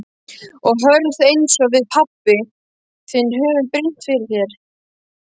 Og hörð einsog við pabbi þinn höfum brýnt fyrir þér.